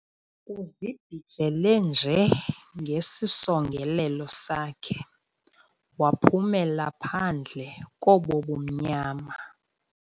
Uzibhijele nje ngesisongelelo sakhe, waphumela phandle kobo bumnyama